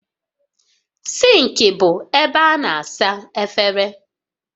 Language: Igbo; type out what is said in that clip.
Sịnkị bụ ebe a na-asa efere